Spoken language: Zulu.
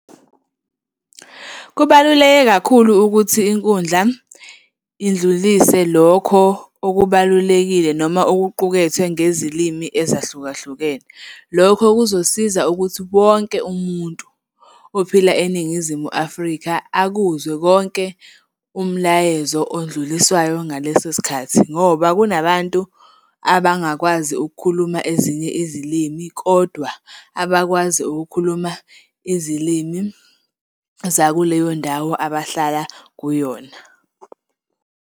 Kubaluleke kakhulu ukuthi inkundla indlulise lokho okubalulekile noma okuqukethwe ngezilimi ezahlukahlukene. Lokho kuzosiza ukuthi wonke umuntu ophila eNingizimu Afrika akuzwe konke umlayezo odluliswayo ngaleso sikhathi, ngoba kunabantu abangakwazi ukukhuluma ezinye izilimi kodwa abakwazi ukukhuluma izilimi zakuleyondawo abahlala kuyona.